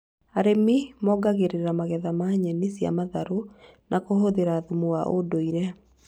Arĩmi mongagĩrĩra magetha ma nyeni cia matharũ na kũhũthĩra thumu wa ũndũire